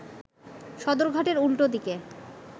সদরঘাটের উল্টো দিকে